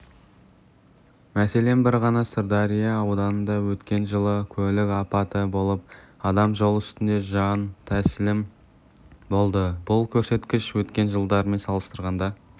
мәселен бір ғана сырдария ауданында өткен жылы көлік апаты болып адам жол үстінде жан тәсілім болды бұл көрсеткіш өткен жылдармен салыстырғанда